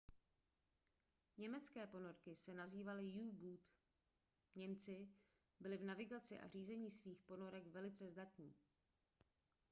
německé ponorky se nazývaly u-boot němci byli v navigaci a řízení svých ponorek velice zdatní